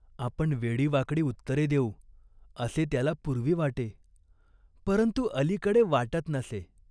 आपण वेडीवाकडी उत्तरे देऊ असे त्याला पूर्वी वाटे, परंतु अलीकडे वाटत नसे.